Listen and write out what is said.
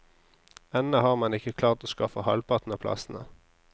Ennå har man ikke klart å skaffe halvparten av plassene.